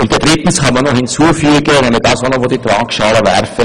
Dann kann man noch das Anciennitätsprinzip in die Waagschale werfen.